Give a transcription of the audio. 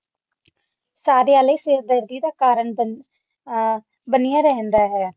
ਸਾਰਿਆਂ ਲਈ ਸਿਰਦਰਦੀ ਦਾ ਕਾਰਨ ਬਣੀ ਐਰੀਏ ਰਹਿੰਦਾ ਹੋਇਆ